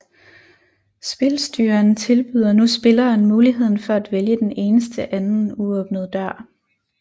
Spilstyreren tilbyder nu spilleren muligheden for at vælge den eneste anden uåbnede dør